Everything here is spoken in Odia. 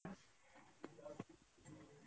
ଶ ଶ